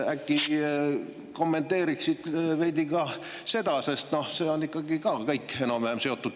Äkki kommenteeriksid veidi ka seda, sest kõik need teemad on omavahel enam-vähem seotud.